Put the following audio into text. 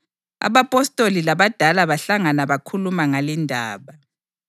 Abapostoli labadala bahlangana bakhuluma ngalindaba.